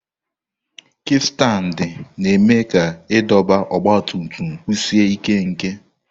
Kikstandi na-eme ka idọba ọgba tum tum kwụsie ike nke.